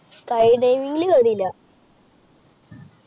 skydiving ങ്ങില് കേറില്ല.